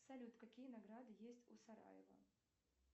салют какие награды есть у сараево